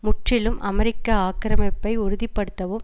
முற்றிலும் அமெரிக்க ஆக்கிரமிப்பை உறுதி படுத்தவும்